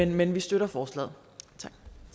men vi støtter forslaget